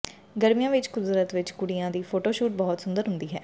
ਗਰਮੀਆਂ ਵਿੱਚ ਕੁਦਰਤ ਵਿੱਚ ਕੁੜੀਆਂ ਦੀ ਫੋਟੋਸ਼ੂਟ ਬਹੁਤ ਸੁੰਦਰ ਹੁੰਦੀ ਹੈ